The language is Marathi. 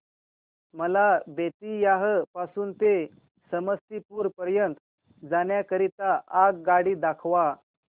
मला बेत्तीयाह पासून ते समस्तीपुर पर्यंत जाण्या करीता आगगाडी दाखवा